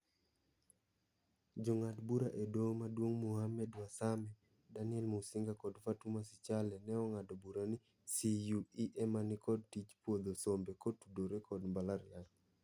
Jong'ad bura e doho maduong' Mohammed Warsame, Daniel Musinga kod Fatuma Sichale ne ong'ado bura ni CUE ema nikod tij puodho sombe kotudore kod mbalariany.